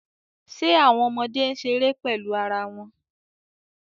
Ṣe awọn ọmọde n ṣere pẹlu ara wọn